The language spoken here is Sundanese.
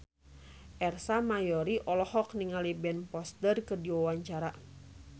Ersa Mayori olohok ningali Ben Foster keur diwawancara